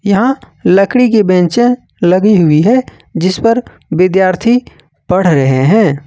यहां लकड़ी की बेचें लगी हुई है जिसपर विद्यार्थी पढ़ रहे है।